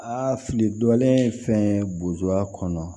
Aa fili dɔlen fɛn buba kɔnɔ